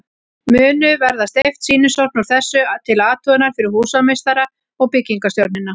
Munu verða steypt sýnishorn úr þessu til athugunar fyrir húsameistara og byggingarstjórnina.